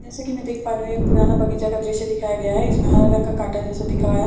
जैसा की मैं देख पा रही हूं ये पुराना बगीचा का दृश्य दिखाया गया हैं इसमें हरा रंग का काटा जैसा दिख रहा है।